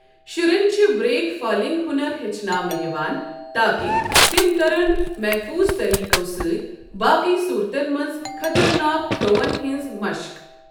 شُرٮ۪ن چھِ break falling ہُنَر ہیٛچناونہٕ یِوان تاکہِ تِم کرَن محفوٗظ طٔریقَو سۭتۍ باقی صورتَن منٛز خطرناک تھرٛووَن ہٕنٛز مشٕق۔